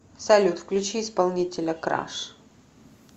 салют включи исполнителя краш